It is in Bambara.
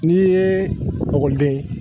Ni ekkɔliden